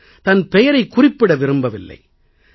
அவர் தன் பெயரைக் குறிப்பிட விரும்பவில்லை